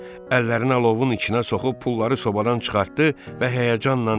Əllərini alovun içinə soxub pulları sobadan çıxartdı və həyəcanla dedi: